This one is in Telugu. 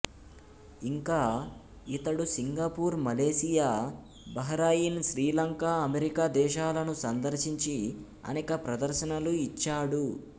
ఇంకా ఇతడు Singapore Malaysia Bahrain Sri Lanka America దేశాలను సందర్శించి అనేక ప్రదర్శనలు ఇచ్చాడు